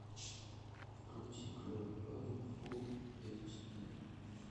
включи клевый парень фул эйч ди